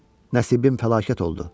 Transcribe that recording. Nəsibim fəlakət oldu.